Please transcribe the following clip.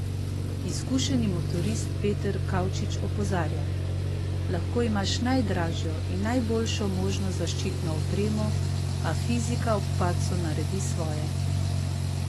Izkušeni motorist Peter Kavčič opozarja: "Lahko imaš najdražjo in najboljšo možno zaščitno opremo, a fizika ob padcu naredi svoje.